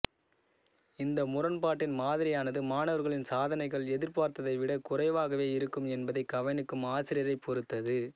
இந்த முரண்பாட்டின் மாதிரியானது மாணவர்களின் சாதனைகள் எதிர்பார்த்ததைவிடக் குறைவாகவே இருக்கும் என்பதை கவனிக்கும் ஆசிரியரைப் பொறுத்தது